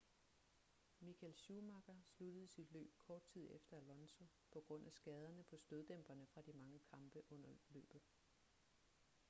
michael schumacher sluttede sit løb kort tid efter alonso på grund af skaderne på støddæmperne fra de mange kampe under løbet